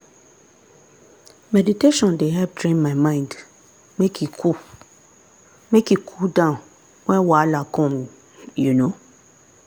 meditation dey help train my mind make e cool make e cool down when wahala come. um